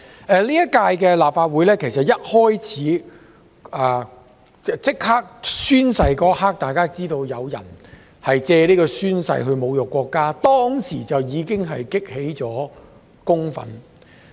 其實，在本屆立法會進行宣誓當天，大家便已看到有人藉宣誓侮辱國家，激起公憤。